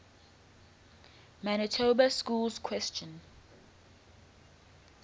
manitoba schools question